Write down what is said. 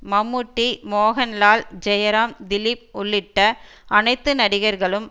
மம்முட்டி மோகன்லால் ஜெயராம் திலீப் உள்ளிட்ட அனைத்து நடிகர்களும்